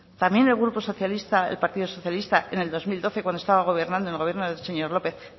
también el grupo socialista el partido socialista en el dos mil doce cuando estaba gobernando en el gobierno del señor lópez